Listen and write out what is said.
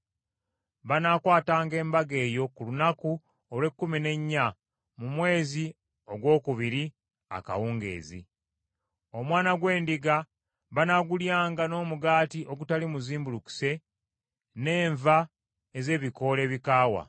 Banaakwatanga embaga eyo ku lunaku olw’ekkumi n’ennya mu mwezi ogwokubiri akawungeezi. Omwana gw’endiga banaagulyanga n’omugaati ogutali muzimbulukuse n’enva ez’ebikoola ebikaawa.